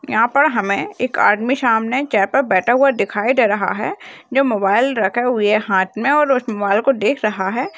यहाँ पर हमें एक आदमी सामने चेयर पर बैठा हुआ दिखाई दे रहा है जो मोबाइल रखे हुए है हाथ में और उस मोबाइल को देख रहा है।